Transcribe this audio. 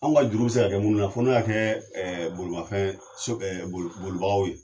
An ka juru bi se ka kɛ munnu na fo n'i y'a kɛ bolomafɛn bolibagaw ye